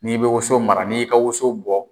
N'i bɛ woso mara ni y'i ka woso bɔ.